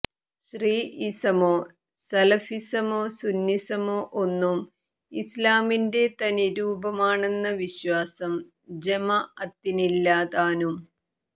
ശീഈസമോ സലഫിസമോ സുന്നിസമോ ഒന്നും ഇസ്ലാമിന്റെ തനി രൂപമാണെന്ന വിശ്വാസം ജമാഅത്തിനില്ല താനും